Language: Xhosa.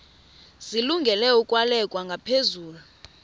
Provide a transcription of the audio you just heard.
zilungele ukwalekwa ngaphezulu